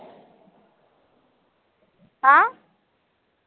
हा